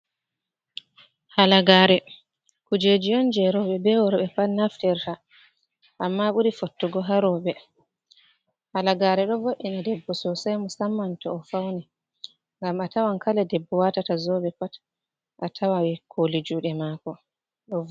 Halagaare kujeeji on jey rooɓe be worɓe pat naftirta, amma ɓuri fottugo haa rooɓe. Halagaare ɗo vo'ina debbo soosay, musamman to o fawni, ngam a tawan kala debbo waatata zoobe pat a tawan kooli juuɗe maako.